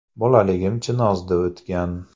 Bolaligim Chinozda o‘tgan.